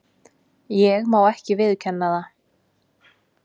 Ég má ekki viðurkenna það.